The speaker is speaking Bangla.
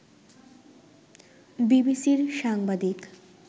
বিবিসির সাংবাদিক